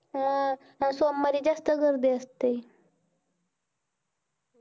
सोमवारी जास्त गर्दी असते